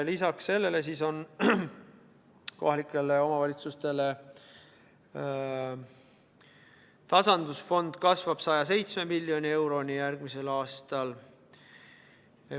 Lisaks sellele, kohalike omavalitsuste tasandusfond kasvab 107 miljoni euroni järgmisel aastal.